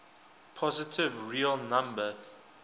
positive real number